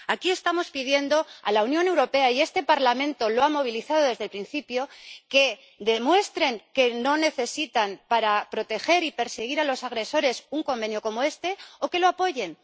Aquí estamos pidiendo a los países de la Unión Europea, y este Parlamento lo ha apoyado desde el principio, que demuestren que no necesitan para proteger y perseguir a los agresores un convenio como este, o que lo apoyen.